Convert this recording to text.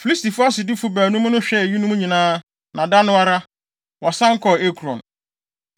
Filistifo asodifo baanum no hwɛɛ eyinom nyinaa, na da no ara, wɔsan kɔɔ Ekron.